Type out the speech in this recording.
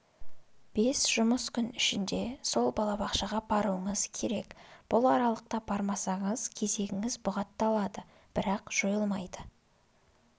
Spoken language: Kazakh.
бес жұмыс күн ішінде сол балабақшаға баруыңыз керек бұл аралықта бармасаңыз кезегіңіз бұғатталады бірақ жойылмайды